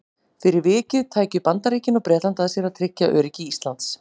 Fyrir vikið tækju Bandaríkin og Bretland að sér að tryggja öryggi Íslands.